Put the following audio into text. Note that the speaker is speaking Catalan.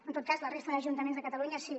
en tot cas a la resta d’ajuntaments de catalunya sí